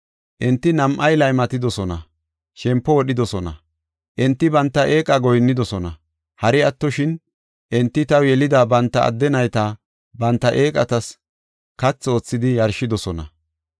Enti nam7ay laymatidosona; shempo wodhidosona. Enti banta eeqa goyinnidosona. Hari attoshin, enti taw yelida banta adde nayta banta eeqatas kathi oothidi yarshidosona.